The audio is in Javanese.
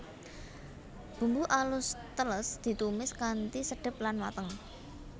Bumbu alus teles ditumis kanthi sedep lan mateng